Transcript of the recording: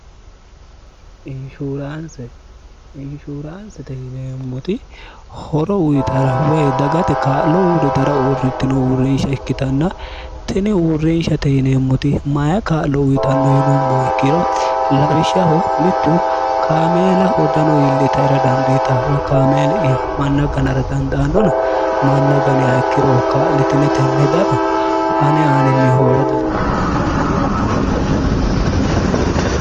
inshuuraansite hineemmoti horo uyitara woy dagate kaa'lo uuri dara uurrittino uurrinsha ikkitanna tini uurrinshate hineemmoti maya kaa'lo uyitanno yilumma ikkiro labishshaho mittu kaameela hodano iilli taira dandiitaw kaameeli'ya manna ganara danda annona manna ganea ikkiroh kaa'litinetenni hedano ane aaninni hoola dandiitinanni yiiro kunne kaa'lo uyitara dandiitanno